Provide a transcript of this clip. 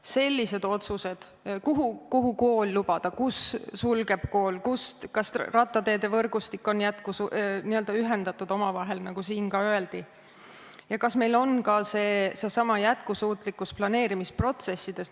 Ka sellised otsused, kuhu lubada kool, kus kool suletakse, kas rattateevõrgustikus on teed ühendatud omavahel, nagu siin ka öeldi, ja kas meil on seesama jätkusuutlikkus planeerimisprotsessides.